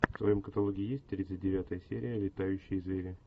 в твоем каталоге есть тридцать девятая серия летающие звери